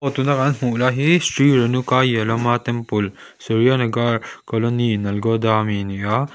tuna kan hmuh lai hi sri yellamma temple colony ami ni a.